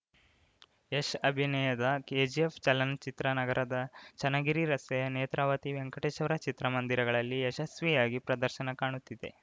ಯಶ್‌ ಅಭಿನಯದ ಕೆಜಿಎಫ್‌ ಚಲನಚಿತ್ರ ನಗರದ ಚನ್ನಗಿರಿ ರಸ್ತೆಯ ನೇತ್ರಾವತಿ ವೆಂಕಟೇಶ್ವರ ಚಿತ್ರಮಂದಿರಗಳಲ್ಲಿ ಯಶಸ್ವಿಯಾಗಿ ಪ್ರದರ್ಶನ ಕಾಣುತ್ತಿದೆ